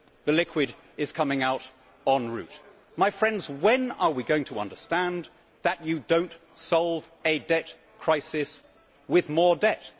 The liquid is coming out en route. My friends, when are we going to understand that you do not solve a debt crisis with more debt?